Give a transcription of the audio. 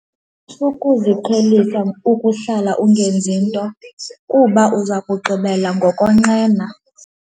Sukuziqhelisa ukuhlala ungenzi nto kuba uza kugqibela ngokonqena.